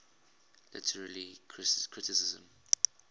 literary criticism